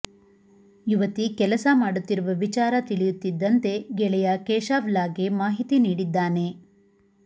ಯುವತಿ ಕೆಲಸ ಮಾಡುತ್ತಿರುವ ವಿಚಾರ ತಿಳಿಯುತ್ತಿದ್ದಂತೆ ಗೆಳೆಯ ಕೇಶವ್ಲಾಲ್ಗೆ ಮಾಹಿತಿ ನೀಡಿದ್ದಾನೆ